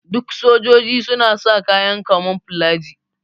Duk sojoji suna sa kayan kamoflaji.